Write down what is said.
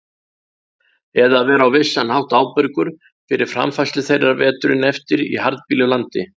Eða að vera á vissan hátt ábyrgur fyrir framfærslu þeirra veturinn eftir í harðbýlu landi.